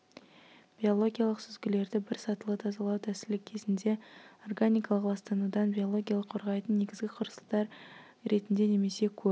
биологиялық сүзгілерді бір сатылы тазалау тәсілі кезінде органикалық ластанудан биологиялық қорғайтын негізгі құрылыстар ретінде немесе көп